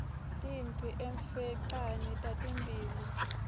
timphi emfecane tatitimbi